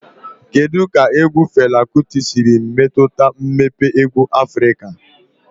Kedu ka egwu Fela Kuti siri metụta mmepe egwu Afrika?